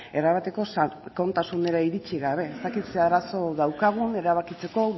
erabateko sakontasunera iritsi gabe ez dakit ze arazo daukagun erabakitzeko